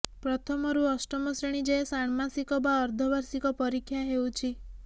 ପ୍ରଥମରୁ ଅଷ୍ଟମ ଶ୍ରେଣୀ ଯାଏଁ ଷାଣ୍ମାସିକ ବା ଅର୍ଦ୍ଧବାର୍ଷିକ ପରୀକ୍ଷା ହେଉଛି